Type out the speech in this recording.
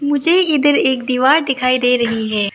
मुझे इधर एक दीवार दिखाई दे रही है।